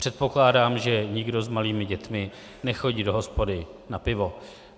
Předpokládám, že nikdo s malými dětmi nechodí do hospody na pivo.